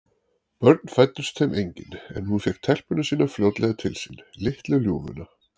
Börn fæddust þeim engin, en hún fékk telpuna sína fljótlega til sín, litlu ljúfuna.